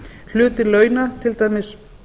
hluti launa til dæmis